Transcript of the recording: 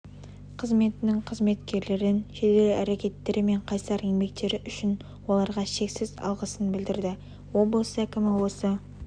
қызметінің қызметкерлерін жедел әрекеттері мен қайсар еңбектері үшін оларға шексіз алғысын білдірді облыс әкімі осы